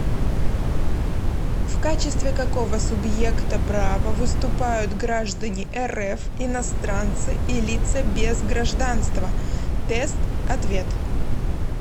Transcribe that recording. в качестве какого субъекта права выступают граждане рф иностранцы и лица без гражданства тест ответ